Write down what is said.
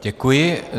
Děkuji.